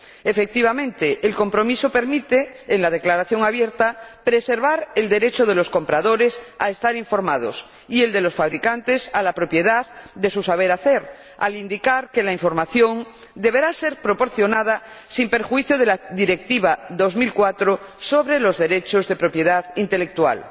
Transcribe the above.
Efectivamente, el compromiso permite, en la declaración abierta, preservar el derecho de los compradores a estar informados y el de los fabricantes a la propiedad de su saber hacer, al indicar que la información deberá ser proporcionada sin perjuicio de la Directiva 2004 sobre los derechos de propiedad intelectual.